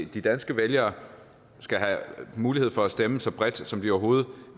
de danske vælgere skal have mulighed for at stemme så bredt som de overhovedet